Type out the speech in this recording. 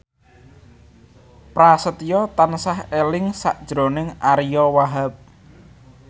Prasetyo tansah eling sakjroning Ariyo Wahab